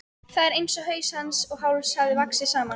Það er einsog haus hans og háls hafi vaxið saman.